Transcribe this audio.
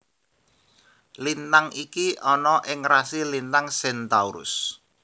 Lintang iki ana ing rasi lintang Centaurus